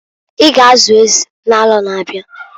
I ga azu ezi n'aro na-abiaǃ